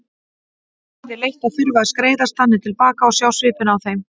Það yrði leitt að þurfa að skreiðast þannig til baka og sjá svipinn á þeim.